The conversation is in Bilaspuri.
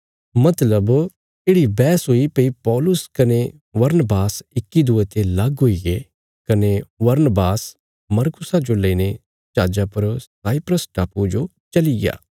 मतलब येढ़ि बैहस हुई भई पौलुस कने बरनबास इक्की दूये ते लग हुईगे कने बरनबास मरकुसा जो लईने जहाजा पर साइप्रस टापुये जो चलिग्या